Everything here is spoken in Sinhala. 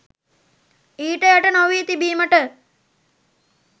ඊට යට නොවී තිබීමට